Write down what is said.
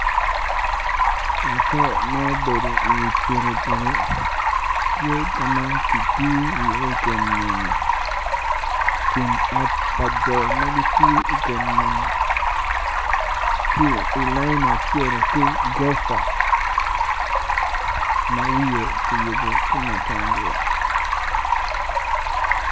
Laco ma obedo i wi piki piki tye ka ma kitiyo iye i kom nyonyo tye i layin acel ki gurofa ma wiye tye kiyubo tye matangula.